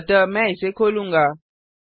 अतः मैं इसे खोलूँगा